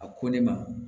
A ko ne ma